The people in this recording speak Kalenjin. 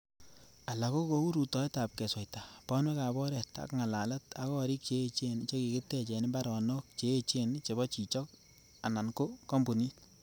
Alak ko kou rutoetab kesweita, bonwek ab oret ak ngalalet ak gorik che echen che kikitech en imbaronok che echen chebo chichok anan ko kompunit.